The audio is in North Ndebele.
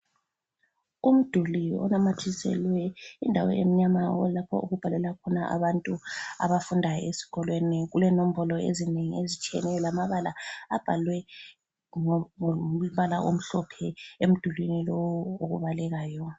Umduli unamathiselwe indawo emnyama lapha okubhalela khona abantu abafunda esikolweni, kulenombolo ezinengi ezitshiyeneyo lamabala abhalwe ngombala omhlophe emdulwini lowu okubalekayo.